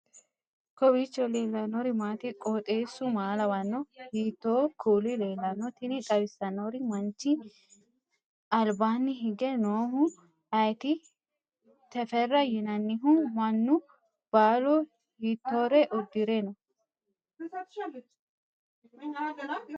kowiicho leellannori maati ? qooxeessu maa lawaanno ? hiitoo kuuli leellanno ? tini xawissannori manchi albaanni hige noohu ayeeti teferra yinannihu mannu baalu hiittore uddire noo